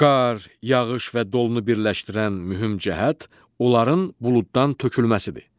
Qar, yağış və dolunu birləşdirən mühüm cəhət onların buluddan tökülməsidir.